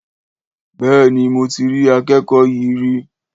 Béèni, mo ti rí akẹ́kọ̀ọ́ yí rí